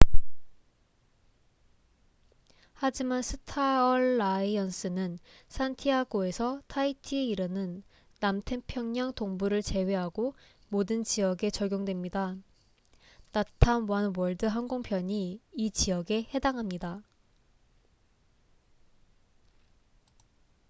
하지만 스타얼라이언스는 산티아고에서 타이티에 이르는 남태평양 동부를 제외하고 모든 지역에 적용됩니다 latam oneworld 항공편이 이 지역에 해당합니다